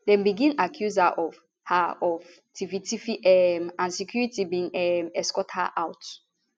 dem begin accuse her of her of tifftiff um and security bin um escort her out